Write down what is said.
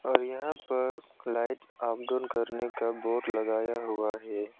और यहां पर लाइट ऑफ डाउन करने का बोर्ड लगाया हुआ है।